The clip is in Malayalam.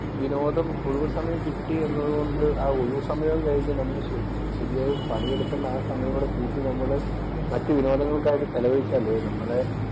വിനോദം, ഒഴിവ് സമയം കിട്ടിയെന്നതുകൊണ്ട് ആ ഒഴിവുസമയവും കഴിഞ്ഞ് നമ്മള് ശരിയായി പണിയെടുക്കേണ്ട ആ സമയം കൂടി കൂട്ടി നമ്മള് മറ്റു വിനോദങ്ങൾക്കായി ചെലവഴിച്ചാല് നമ്മുടെ